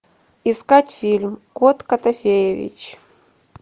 искать фильм кот котофеевич